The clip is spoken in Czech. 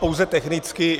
Pouze technicky.